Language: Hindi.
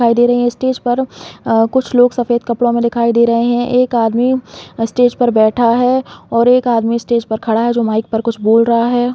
दिखाई दे रहे है स्टेज पर अ कुछ लोग सफ़ेद कपड़ों में दिखाई दे रहे है एक आदमी स्टेज पर बैठा है और एक आदमी स्टेज पर खड़ा है जो माइक पर कुछ बोल रहा हैं ।